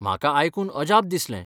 म्हाका आयकून अजाप दिसलें.